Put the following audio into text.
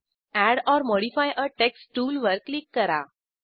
add or modify a text टूलवर क्लिक करा